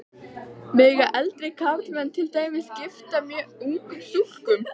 Mega eldri karlmenn til dæmis giftast mjög ungum stúlkum?